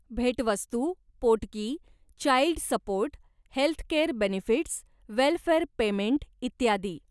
भेटवस्तू, पोटगी, child support, healthcare benefits, welfare payment इत्यादी.